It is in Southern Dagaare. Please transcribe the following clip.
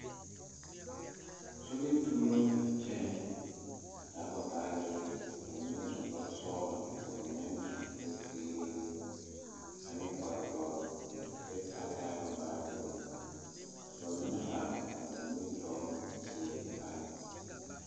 So biri tuurobo la a kyɛne a taa ba baagyere, ka ba mine su kparre sɔglo ka ba mine su kparre ziiri ane kparre dɔre kyɛ taa taa ba baagyere ka ba mine are a ba nimitɔɔre teɛ pare .